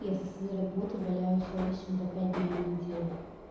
я со своей работы валяюсь овощем по пять дней в неделю